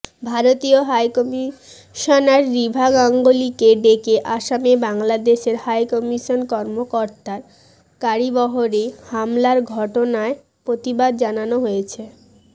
ভারতীয় হাইকমিশনার রিভা গাঙ্গুলিকে ডেকে আসামে বাংলাদেশের হাইকমিশন কর্মকর্তার গাড়িবহরে হামলার ঘটনায় প্রতিবাদ জানানো হয়েছে